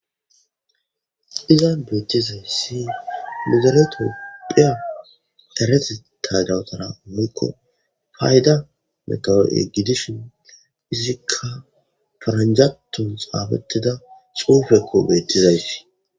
iza beettizayssi mizeletopphiya erete tagawutana woykko fayda meqawoo7e gidishin izikka faranjaton xaabattida xuufekko beettizayti